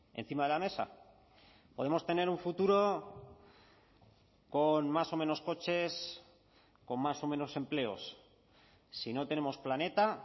encima de la mesa podemos tener un futuro con más o menos coches con más o menos empleos si no tenemos planeta